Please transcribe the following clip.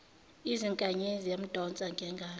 izinkanyezi yamdonsa ngengalo